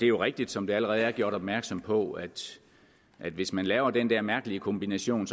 jo rigtigt som der allerede er gjort opmærksom på at hvis man laver den der mærkelige kombination